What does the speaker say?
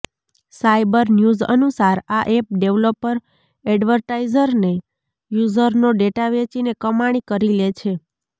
cyber news અનુસાર આ app developer એડવર્ટાઈઝરને યૂઝરનો ડેટા વેચીને કમાણી કરી લે છે